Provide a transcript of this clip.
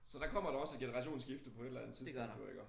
Så der kommer der også et generationsskifte på et eller andet tidspunkt jo iggå